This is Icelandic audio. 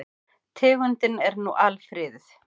Tegundin er nú alfriðuð.